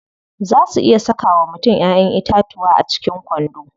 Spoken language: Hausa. Zaa su iya saka wa mutum Ƴaƴan itatuwa a cikin kwando.